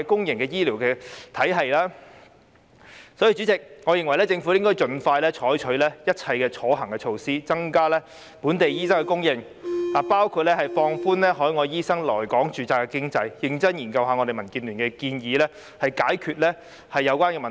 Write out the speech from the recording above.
因此，代理主席，我認為政府應該盡快採取一切可行的措施，增加本地醫生的供應，包括放寬海外醫生來港註冊的機制，認真研究民建聯的建議，以解決有關的問題。